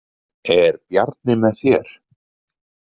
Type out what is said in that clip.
Er Bjarni með þér?